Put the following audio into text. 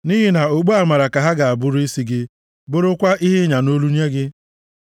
Nʼihi na okpu amara ka ha ga-abụrụ isi gị, bụrụkwa ihe ịnya nʼolu nye gị.